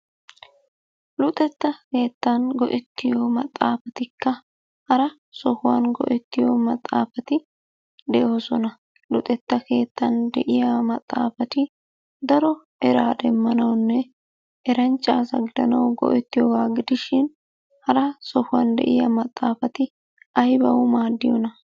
Luxetta kewttan go"ettito maxaafatikka hara sohuwan go"ettiyo maxaafati de'oosona. Luxetta keettan de'iyaa maxaafati daro eraa demmanawunne eranchcha asa gidanaw go"ertiyooga gidishin hara sohuwan de'iya maxaaafati aybbaw maaddiyyona?